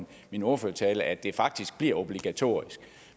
min ordførertale at det faktisk bliver obligatorisk